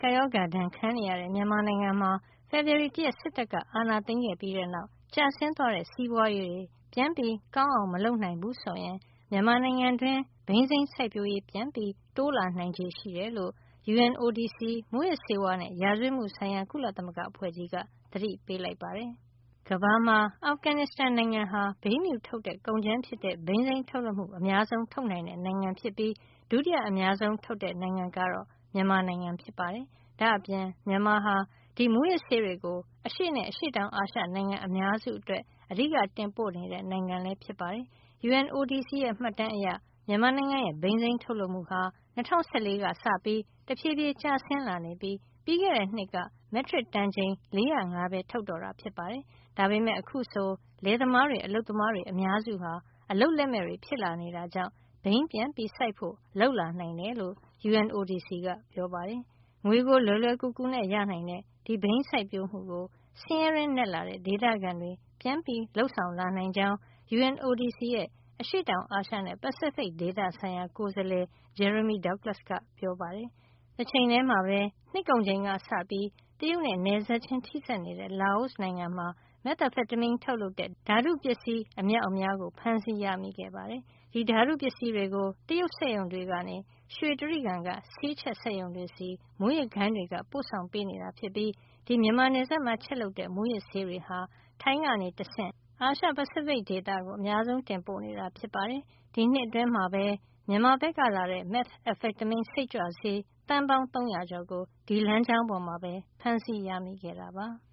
ကပ်ရောဂါ ဒဏ်ခံနေရတဲ့ မြန်မာနိုင်ငံမှာ ဖေဖေါ်ဝါရီလ ၁ ရက်စစ်တပ်က အာဏာသိမ်း ခဲ့ပြီးတဲ့နောက် ကျဆင်းသွားတဲ့ စီးပွားရေးတွေ ပြန်ပြီး ကောင်းအောင် မလုပ်နိုင်ဘူးဆိုရင် မြန်မာနိုင်ငံတွင်း ဘိန်းစိမ်းစိုက်ပျိုးရေး ပြန်ပြီး တိုးလာနိုင်ခြေရှိတယ်လို့ UNODC မူးယစ်ဆေးဝါးနဲ့ ရာဇဝတ်မှုဆိုင်ရာ ကုလသမဂ္ဂအဖွဲ့ကြီးက သတိပေးလိုက်ပါတယ်။ ကမ္ဘာမှာ အာဖဂန်နစ်စတန်နိုင်ငံဟာ ဘိန်းဖြူထုတ်တဲ့ကုန်ကြမ်းဖြစ်တဲ့ ဘိန်းစိမ်းထုတ်လုပ်မှု အများဆုံးနိုင်ငံဖြစ်ပြီး ဒုတိယအများဆုံး နိုင်ငံကတော့ မြန်မာနိုင်ငံဖြစ်ပါတယ်။ ဒါ့အပြင် မြန်မာဟာ ဒီမူးယစ်ဆေးတွေကို အရှေ့နဲ့ အရှေ့တောင်အာရှ နိုင်ငံအများစုအတွက် အဓိက တင်ပို့နေတဲ့ နိုင်ငံလည်း ဖြစ်ပါတယ်။ UNODC ရဲ့ မှတ်တမ်းအရ မြန်မာနိုင်ငံရဲ့ ဘိန်းစိမ်းထုတ်လုပ်မှုဟာ ၂၀၁၄ ကစပြီး တဖြေးဖြေး ကျဆင်းလာနေပြီး ပြီးခဲ့တဲ့ နှစ်က မက်ထရစ်တန်ချိန် ၄၀၅ ပဲ ထုတ်တော့တာ ဖြစ်ပါတယ်။ ဒါပေမယ့် အခုဆိုရင် လယ်သမားတွေ၊ အလုပ်သမားတွေ အများစုဟာ အလုပ်လက်မဲ့တွေ ဖြစ်လာနေတာကြောင့် ဘိန်းပြန်စိုက်ဖို့ လုပ်လာနိုင်တယ်လို့ UNODC ကပြောပါတယ်။ ငွေကို လွယ်လွယ်ကူကူနဲ့ ရနိုင်တဲ့ဒီဘိန်းစိုက်ပျိုးမှုကို ဆင်းရဲတွင်းနက်လာတဲ့ ဒေသခံတွေ ပြန်ပြီး လုပ်ဆောင်လာနိုင်ကြောင်း UNODC ရဲ့ အရှေ့တောင်အာရှနဲ့ ပစိဖိတ် ဒေသဆိုင်ရာ ကိုယ်စားလှယ် Jeremy Douglas က ပြောပါတယ်။ တချိန်ထဲမှာပဲ နှစ်ကုန်ချိန်ကစပြီး တရုတ်နဲ့ နယ်စပ်ချင်း ထိစပ်နေတဲ့ လာအိုနိုင်ငံမှာ methamphetamine ထုတ်လုပ်တဲ့ ဓါတုပစ္စည်း အမြောက်အများ ဖမ်းဆီးရမိခဲ့ ပါတယ်။ ဒီဓါတုပစ္စည်းတွေကို တရုတ်စက်ရုံတွေကနေ ရွှေတြိဂံ က ဆေးချက်ရုံတွေဆီ မူးယစ်ဂိုဏ်းတွေက ပို့ဆောင်နေတာ ဖြစ်ပြီး ဒီ မြန်မာနယ်စပ်မှာ ချက်လုပ်တဲ့ မူးယစ်ဆေးတွေဟာ ထိုင်းကနေတဆင့် အာရှ - ပစိဖိတ် ဒေသကို တင်ပို့နေတာ ဖြစ်ပါတယ်။ ဒီနှစ်အတွင်းမှာပဲ မြန်မာဘက်ကလာတဲ့ meth စိတ်ကြွဆေး သန်းပေါင်း ၃၀၀ ကျော်ကို ဒီလမ်းကြောင်းပေါ်မှာ ဖမ်းဆီးရမိခဲ့တာပါ။